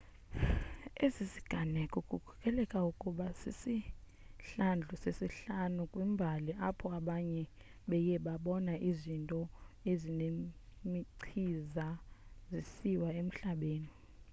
esi siganeko kukholeleka ukuba sisihlandlo sesihlanu kwimbali apho abantu beye babona izinto ezinemichiza zisiwa emhlabeni